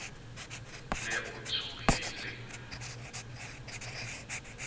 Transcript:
ne a tshohilehaholo a sa